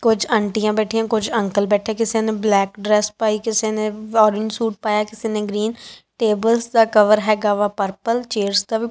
ਕੁਝ ਅੰਟੀਆਂ ਬੈਠੀਆਂ ਕੁਝ ਅੰਕਲ ਬੈਠੇ ਕਿਸੇ ਨੇ ਬਲੈਕ ਡਰੈਸ ਪਾਈ ਕਿਸੇ ਨੇ ਔਰੰਗੇ ਸੂਟ ਪਾਇਆ ਕਿਸੇ ਨੇ ਗ੍ਰੀਨ ਟੇਬਲਸ ਦਾ ਕਵਰ ਹੈਗਾ ਵਾ ਪਰਪਲ ਚੇਅਰਸ ਦਾ ਵੀ।